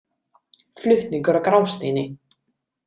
Flutningur á Grásteini.